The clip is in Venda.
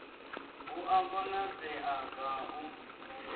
hu a konadzea ga u